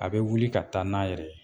A bɛ wuli ka taa n'a yɛrɛ ye.